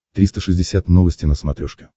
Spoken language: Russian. триста шестьдесят новости на смотрешке